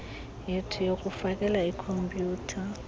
yethi yokufakele iikhompyutha